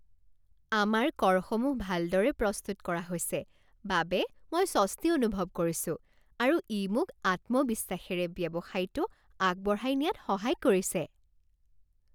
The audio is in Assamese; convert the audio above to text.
আমাৰ কৰসমূহ ভালদৰে প্ৰস্তুত কৰা হৈছে বাবে মই স্বস্তি অনুভৱ কৰিছোঁ আৰু ই মোক আত্মবিশ্বাসেৰে ব্যৱসায়টো আগবঢ়াই নিয়াত সহায় কৰিছে।